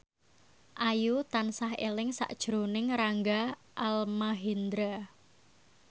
Ayu tansah eling sakjroning Rangga Almahendra